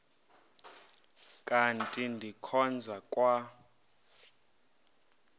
kanti ndikhonza kwa